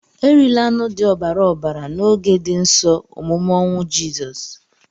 Erila anụ dị ọbara ọbara na oge di nsọ omume ọnwụ jisọs!!